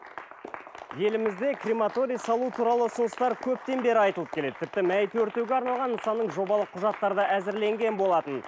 елімізде крематорий салу туралы ұсыныстар көптен бері айтылып келеді тіпті мәйіт өртеуге арналған нысанның жобалық құжаттары да әзірленген болатын